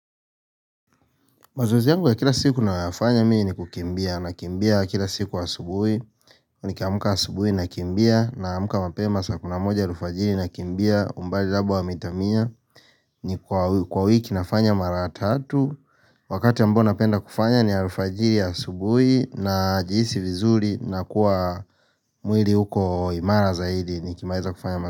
Mazoezi yangu ya kila siku nayo fanya mimi ni kukimbia na kimbia kila siku wa asubui nikiamka asubui na kimbia na amka mapema saa kumi na moja alfajiri na kimbia umbali labda wa mita mia ni kwa wiki nafanya mara tatu Wakati ambo napenda kufanya ni alfajiri asubui na jihisi vizuri na kuwa mwili uko imara zaidi Nikimaiza kufanya mazoezi.